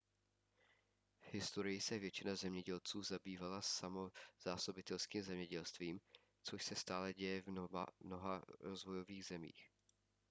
v historii se většina zemědělců zabývala samozásobitelským zemědělstvím což se stále děje v mnoha rozvojových zemích